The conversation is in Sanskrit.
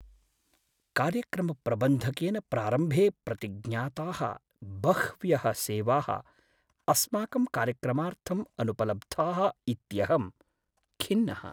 कार्यक्रमप्रबन्धकेन प्रारम्भे प्रतिज्ञाताः बह्व्यः सेवाः अस्माकं कार्यक्रमार्थं अनुपलब्धाः इत्यहं खिन्नः।